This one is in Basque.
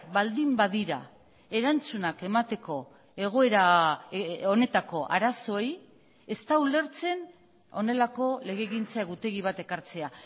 baldin badira erantzunak emateko egoera honetako arazoei ez da ulertzen honelako legegintza egutegi bat ekartzea